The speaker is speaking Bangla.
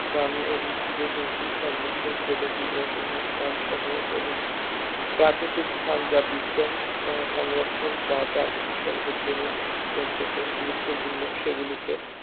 প্রাণী ও উদ্ভিদের হুমকির সম্মুখীন প্রজাতির বসবাস স্থান সহ এবং প্রাকৃতিক স্থান যা বিজ্ঞান সংরক্ষণ বা প্রাকৃতিক সৌন্দর্যের দৃষ্টিকোণ থেকে গুরুত্বপূর্ণ সেগুলিকে